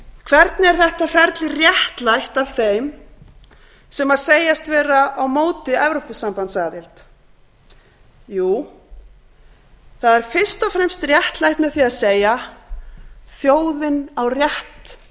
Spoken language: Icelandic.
hvernig er þetta ferli réttlætt af þeim sem segjast vera á móti evrópusambandsaðild jú það er fyrst og fremst réttlætt með því að segja þjóðin á rétt